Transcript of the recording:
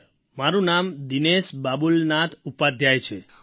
sir મારું નામ દિનેશ બાબુલનાથ ઉપાધ્યાય છે